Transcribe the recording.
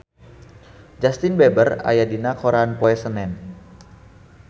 Justin Beiber aya dina koran poe Senen